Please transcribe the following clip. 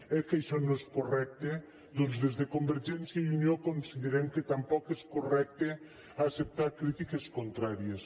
oi que això no és correcte doncs des de convergència i unió considerem que tampoc és correcte acceptar crítiques contràries